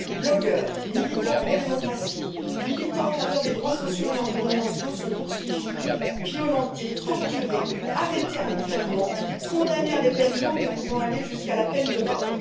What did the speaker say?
Blogueurs, militants pro démocratie, militants en faveur des droits sociaux et environnementaux sont poursuivis, violentés, torturés, arrêtés arbitrairement, condamnés à de lourdes peines pouvant aller jusqu'à la peine de mort.